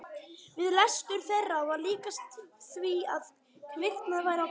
Við lestur þeirra var líkast því að kviknaði á peru.